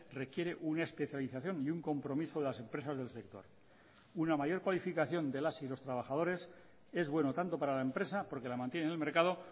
requiere una especialización y un compromiso de las empresas del sector una mayor cualificación de las y los trabajadores es bueno tanto para la empresa porque la mantiene en el mercado